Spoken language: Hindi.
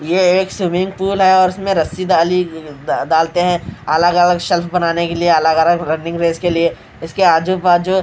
यह एक स्विमिंग पूल है और उसमें रस्सी डाली डालते हैं अलग अलग शेल्फ बनाने के लिए अलग अलग रनिंग रेस के लिए इसके आजू बाजू--